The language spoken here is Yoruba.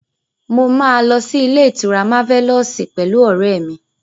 Mo máa lọ sí ilé-ìtura Máfẹ́lọ́ọ̀sì pẹ̀lú ọ̀rẹ́ mi.